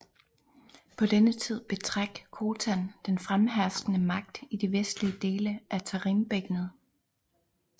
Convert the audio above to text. På denne tid betræk Khotan den fremherskende magt i de vestlige dele af Tarimbækkenet